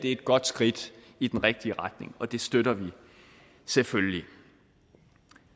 et godt skridt i den rigtige retning og det støtter vi selvfølgelig